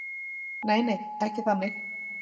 nei nei ekki þannig